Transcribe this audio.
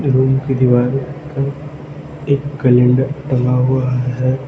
Room की दीवार पर एक कैलेंडर टंगा हुआ है।